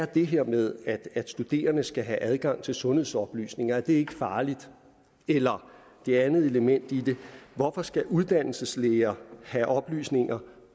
det her med at studerende skal have adgang til sundhedsoplysninger er det er farligt eller det andet element i det hvorfor skal uddannelseslærere have oplysninger